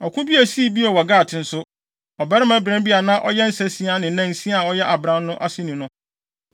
Ɔko bi a esii bio wɔ Gat nso, ɔbarima bran bi a na ɔyɛ nsansia ne nansia a ɔyɛ abran no aseni no